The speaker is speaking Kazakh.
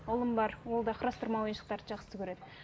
ұлым бар ол да құрастырма ойыншықтарды жақсы көреді